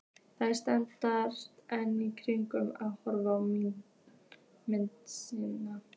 Þær standa enn kyrrar og horfa á mynd sína.